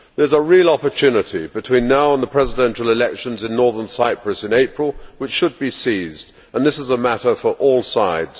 There is a real opportunity between now and the presidential elections in Northern Cyprus in April which should be seized, and this is a matter for all sides.